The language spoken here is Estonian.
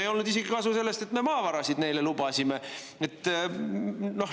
Ei olnud kasu isegi sellest, et me neile maavarasid lubasime.